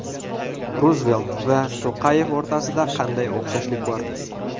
Ruzvelt va To‘qayev o‘rtasida qanday o‘xshashlik bor?